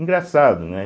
Engraçado, né?